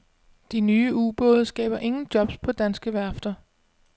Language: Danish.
De nye ubåde skaber ingen jobs på danske værfter.